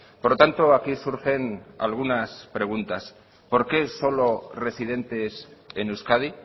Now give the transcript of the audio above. por lo tanto aquí surgen algunas preguntas por qué solo residentes en euskadi